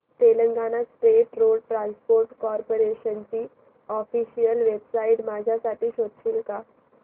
Telangana state road transport corporation ची official website माझ्यासाठी शोधशील का